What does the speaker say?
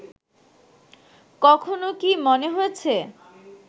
কখনও কি মনে হয়েছে